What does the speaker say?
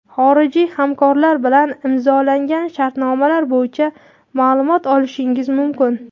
xorijiy hamkorlar bilan imzolangan shartnomalar bo‘yicha maʼlumot olishingiz mumkin.